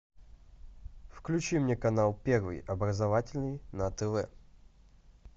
включи мне канал первый образовательный на тв